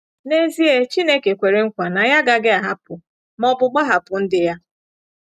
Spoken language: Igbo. N’ezie, Chineke kwere nkwa na ya agaghị ahapụ, ma ọ bụ gbahapụ ndị ya.